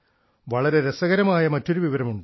വളരെ രസകരമായ മറ്റൊരു വിവരമുണ്ട്